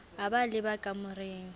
a ba a leba kamoreng